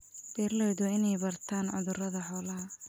Beeraleydu waa inay bartaan cudurrada xoolaha.